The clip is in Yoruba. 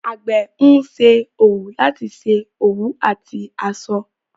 Àgbẹ̀ ń ṣe òwú láti ṣe òwú àti aṣọ.